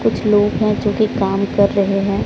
कुछ लोग हैं जो कि काम कर रहे हैं।